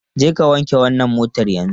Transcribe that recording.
Jeka wanke wannan motar yanzu!